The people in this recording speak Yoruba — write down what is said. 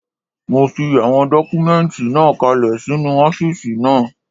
Mo fi àwọn dọ́kúmẹ́ǹtì náà kalẹ̀ sínu ọ́fìsì náà